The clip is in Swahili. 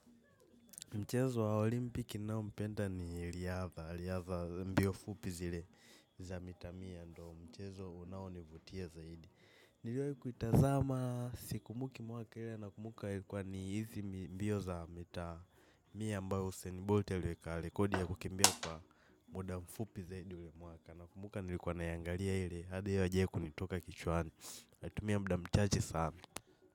Mchezo wa Olimpiki naopenda ni riyadha, riyadha za mbio fupi zile za mita mia ndo mchezo unaonivutia zaidi. Niliwahi kuitazama sikumbuki mwaka ile na kumbuka ilikuwa ni hizi mbio za mita mia ambao Huseni Bolt aliweka rekodi ya kukimbia kwa muda mfupi zaidi ule mwaka. Na kumbuka nilikuwa naiangalia hili, hadi hiyo aijai kunitoka kichwani. Alitumia muda mchache sana.